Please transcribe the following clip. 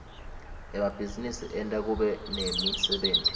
emabhizinisi enta kube nemsebenti